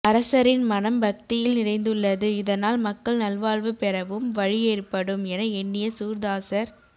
அரசரின் மனம் பக்தியில் நிரைந்துள்ளது இதனால் மக்கள் நல்வாழ்வு பெறவும் வழி ஏற்படும் என எண்ணிய சூர்தாசர்